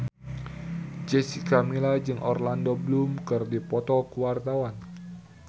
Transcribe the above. Jessica Milla jeung Orlando Bloom keur dipoto ku wartawan